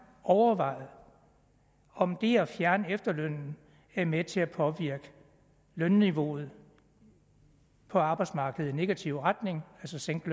overvejet om det at fjerne efterlønnen er med til at påvirke lønniveauet på arbejdsmarkedet i negativ retning altså sænke